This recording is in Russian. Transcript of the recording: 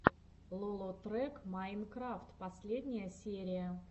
лолотрек майнкрафт последняя серия